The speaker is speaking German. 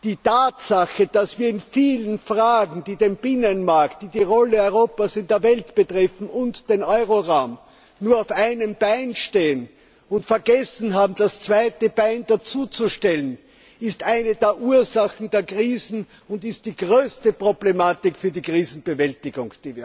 Die Tatsache, dass wir in vielen Fragen, die den Binnenmarkt, die Rolle Europas in der Welt und den Euroraum betreffen, nur auf einem Bein stehen und vergessen haben, das zweite Bein dazuzustellen, ist eine der Ursachen der Krisen und die größte Problematik für die Krisenbewältigung.